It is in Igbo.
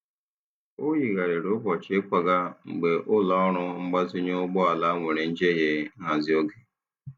Ọ yigharịrị ụbọchị ịkwaga mgbe ụlọ ọrụ mgbazinye ụgbọ ala nwere njehie nhazi oge.